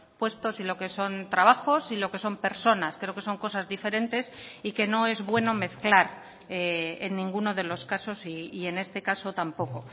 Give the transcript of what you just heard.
puestos y lo que son trabajos y lo que son personas creo que son cosas diferentes y que no es bueno mezclar en ninguno de los casos y en este caso tampoco